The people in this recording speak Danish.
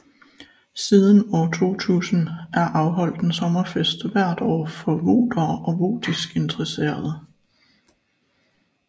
Siden år 2000 er afholdt en sommerfest hvert år for votere og votisk interesserede